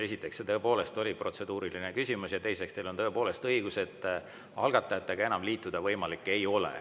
Esiteks, see tõepoolest oli protseduuriline küsimus, ja teiseks, teil on tõepoolest õigus, et algatajatega enam liituda võimalik ei ole.